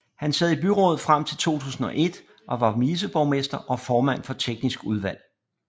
Han sad i byrådet frem til 2001 og var viceborgmester og formand for teknisk udvalg